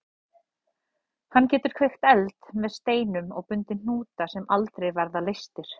Hann getur kveikt eld með steinum og bundið hnúta sem aldrei verða leystir.